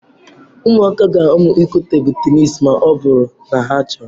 Ụmụaka ga-amụ ịkụ tebụl tenis ma ọ bụrụ na ha chọọ.